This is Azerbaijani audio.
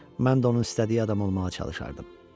Mən də onun istədiyi adam olmağa çalışardım.